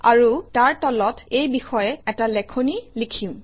আৰু তাৰ তলত এই বিষয়ে এটা লেখনি লিখিম